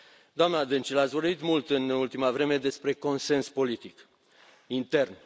Doamna Dăncilă, ați vorbit mult în ultima vreme despre consens politic intern.